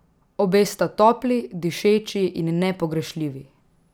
Obe sta topli, dišeči in nepogrešljivi!